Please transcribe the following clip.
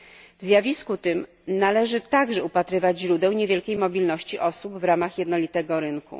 W zjawisku tym należy także upatrywać źródeł niewielkiej mobilności osób w ramach jednolitego rynku.